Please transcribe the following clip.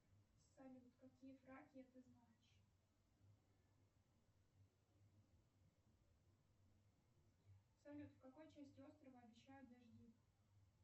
салют какие фраки ты знаешь салют в какой части острова обещают дожди